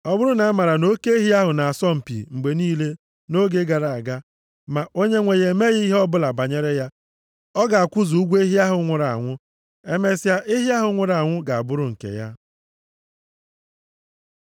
Ọ bụrụ na amaara na oke ehi ahụ na-asọ mpi mgbe niile nʼoge gara aga, ma onyenwe ya emeghị ihe ọbụla banyere ya, ọ ga-akwụzu ụgwọ ehi ahụ nwụrụ anwụ. Emesịa ehi ahụ nwụrụ anwụ ga-abụrụ nke ya.